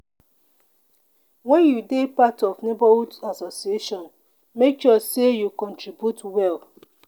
when you dey part of neighborhood association make sure say you contribute well.